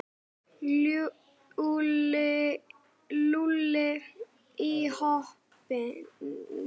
Lúlli í hópinn.